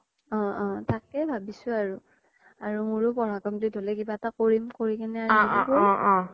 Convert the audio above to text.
অ অ তাকেই ভাবিছো আৰু, আৰু মোৰো পঢ়া complete হ্'লে কিবা এটা কৰিম